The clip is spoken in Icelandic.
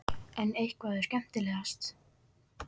En hvað er skemmtilegast?